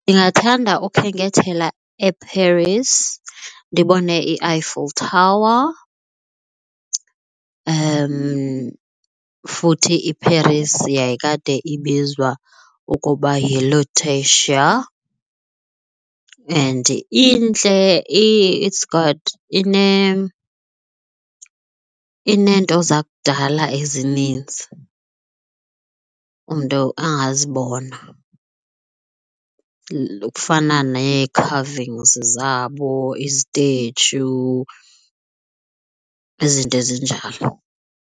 Ndingathanda ukhenkethela eParis ndibone Eiffel Tower futhi iParis yayikade ibizwa ukuba yiLutetia. And intle. It's got ineento zakudala ezininzi umntu angazibona ekufana neekhavingzi zabo, izithetshu izinto ezinjalo.